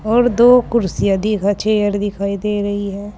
और दो कुर्सियां दिखा चेयर दिखाई दे रही हैं।